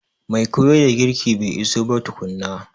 Mai koyar da girki bai iso ba tukuna.